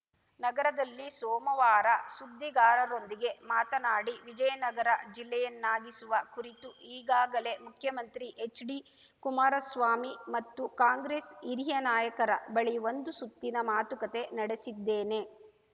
ನಗರದಲ್ಲಿ ಸೋಮವಾರ ಸುದ್ದಿಗಾರರೊಂದಿಗೆ ಮಾತನಾಡಿ ವಿಜಯನಗರ ಜಿಲ್ಲೆಯನ್ನಾಗಿಸುವ ಕುರಿತು ಈಗಾಗಲೇ ಮುಖ್ಯಮಂತ್ರಿ ಹೆಚ್‌ಡಿ ಕುಮಾರಸ್ವಾಮಿ ಮತ್ತು ಕಾಂಗ್ರೆಸ್‌ ಹಿರಿಯ ನಾಯಕರ ಬಳಿ ಒಂದು ಸುತ್ತಿನ ಮಾತುಕತೆ ನಡೆಸಿದ್ದೇನೆ